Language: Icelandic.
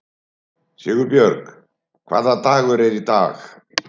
Sigurbjörg, hvaða dagur er í dag?